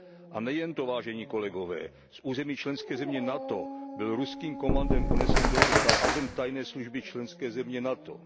A nejen to, vážení kolegové, z území členské země NATO byl ruským komandem unesen do Ruska agent tajné služby členské země NATO.